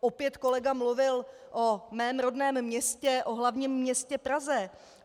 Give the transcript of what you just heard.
Opět kolega mluvil o mém rodném městě, o hlavním městě Praze.